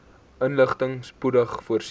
inligting spoedig voorsien